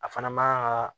A fana man kan ka